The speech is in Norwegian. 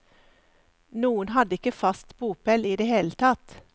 Noen hadde ikke fast bopel i det hele tatt.